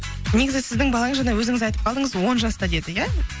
негізі сіздің балаңыз жаңа өзіңіз айтып қалдыңыз он жаста деді иә